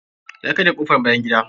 Ya karya kofr bayan gida.